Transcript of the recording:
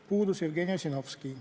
Puudus Jevgeni Ossinovski.